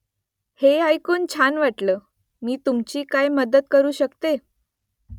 हे ऐकून छान वाटलं . मी तुमची काय मदत करू शकते ?